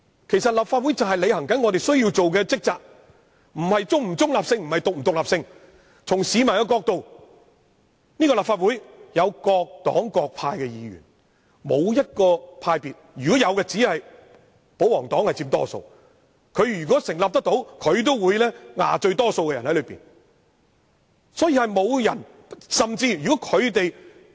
其實，立法會正是要履行我們的職責，問題並不在於本會是否中立或獨立，而是從市民的角度而言，立法會由各黨各派議員組成，沒有任何一個派別佔多數，即使有也只是保皇黨。